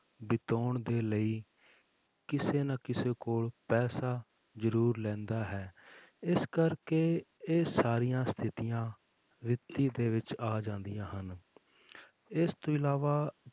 ਬਿਤਾਉਣ ਦੇ ਲਈ ਕਿਸੇ ਨਾ ਕਿਸੇ ਕੋਲ ਪੈਸਾ ਜ਼ਰੂਰ ਲੈਂਦਾ ਹੈ ਇਸ ਕਰਕੇ ਇਹ ਸਾਰੀਆਂ ਸਥਿਤੀਆਂ ਵਿੱਤੀ ਦੇ ਵਿੱਚ ਆ ਜਾਂਦੀਆਂ ਹਨ ਇਸ ਤੋਂ ਇਲਾਵਾ